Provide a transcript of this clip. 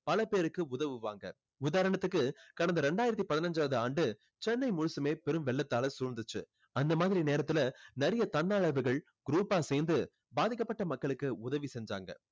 பல பேருக்கு உதவுவாங்க உதாரணத்துக்கு கடந்த ரெண்டாயிரத்து பதிஞ்சாவது ஆண்டு சென்னை முழுசுமே பெரும் வெள்ளத்தால சூழ்ந்துச்சு. அந்த மாதிரி நேரத்துல நிறைய தன்னார்வலர்கள் group ஆ சேர்ந்து பாதிக்கப்பட்ட மக்களுக்கு உதவி செஞ்சாங்க.